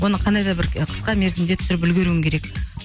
оны қандай да бір ы қысқа мерзімде түсіріп үлгеруің керек